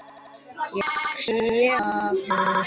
Ég sé að hann hefur stækkað.